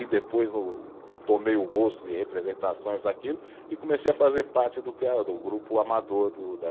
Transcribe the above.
E depois o, tomei o gosto de representações, aquilo, e comecei a fazer parte do tea, do grupo amador do da